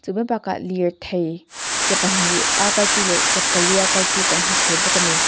chu mai bakah lirthei ke pa hnih a kal chi leh ke pali a kal chi kan hmu thei bawk a ni.